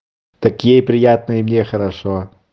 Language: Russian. такие приятные мне хорошо